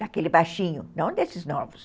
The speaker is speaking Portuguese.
Daquele baixinho, não desses novos.